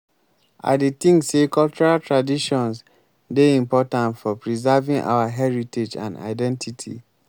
i dey think say cultural traditons dey important for preserving our heritage and identity.